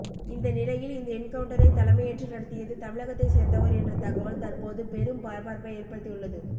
இந்த நிலையில் இந்த என்கவுன்டரை தலைமையேற்று நடத்தியது தமிழகத்தை சேர்ந்தவர் என்ற தகவல் தற்போது பெரும் பரபரப்பை ஏற்படுத்தி உள்ளது